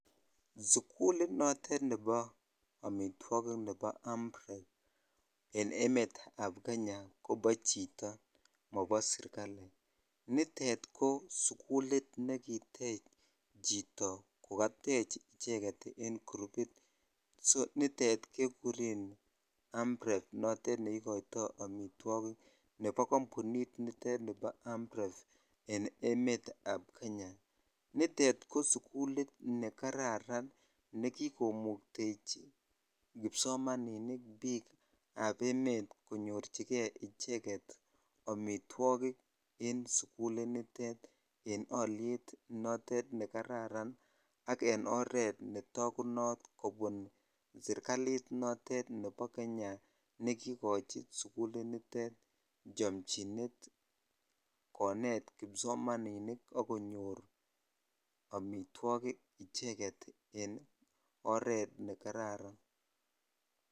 Sukulut notet nebo amitwo